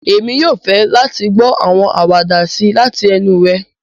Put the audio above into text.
Èmi yoo fẹ láti gbọ àwọn àwàdà sii lati enu rẹ.